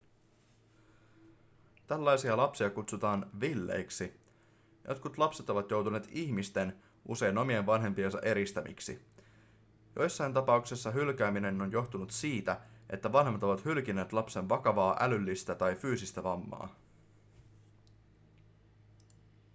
tällaisia lapsia kutsutaan villeiksi". jotkut lapset ovat joutuneet ihmisten usein omien vanhempiensa eristämiksi. joissakin tapauksessa hylkääminen on johtunut siitä että vanhemmat ovat hylkineet lapsen vakavaa älyllistä tai fyysistä vammaa